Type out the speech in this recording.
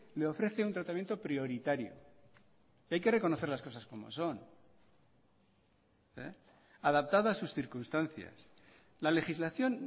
le ofrece un tratamiento prioritario hay que reconocer las cosas como son adaptada a sus circunstancias la legislación